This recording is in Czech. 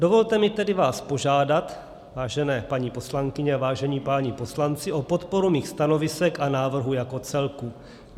Dovolte mi tedy vás požádat, vážené paní poslankyně a vážení páni poslanci, o podporu mých stanovisek a návrhu jako celku.